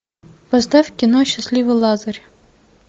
поставь кино счастливый лазарь